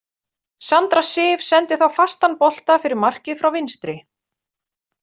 Sandra Sif sendi þá fastan bolta fyrir markið frá vinstri.